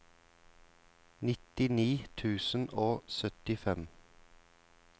nittini tusen og syttifem